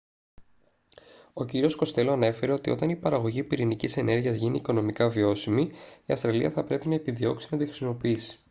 ο κύριος κοστέλο ανέφερε ότι όταν η παραγωγή πυρηνικής ενέργειας γίνει οικονομικά βιώσιμη η αυστραλία θα πρέπει να επιδιώξει να τη χρησιμοποιήσει